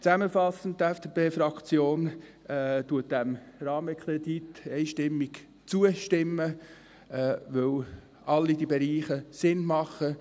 Zusammenfassend: Die FDP-Fraktion stimmt diesem Rahmenkredit einstimmig zu, weil alle diese Bereiche Sinn machen.